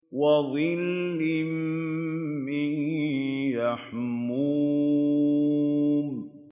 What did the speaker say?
وَظِلٍّ مِّن يَحْمُومٍ